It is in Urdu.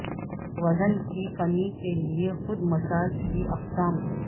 وزن کی کمی کے لئے خود مساج کی اقسام